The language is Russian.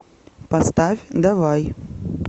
поставь давай